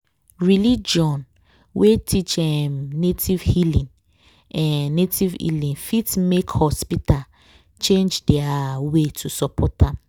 religion wey teach em native healing em native healing fit make hospital change their way to support am.